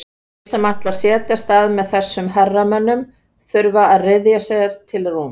Þeir sem ætla að setjast með þessum herramönnum þurfa að ryðja sér til rúms.